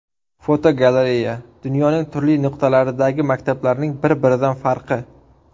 Fotogalereya: Dunyoning turli nuqtalaridagi maktablarning bir-biridan farqi.